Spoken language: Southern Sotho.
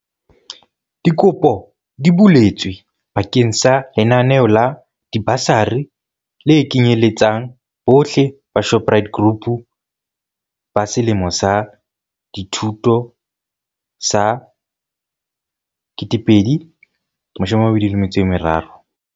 Dikopo di buletswe ba keng sa lenaneo la dibasari le kenyeletsang bohle la Shoprite Group la selemo sa dithuto sa 2023.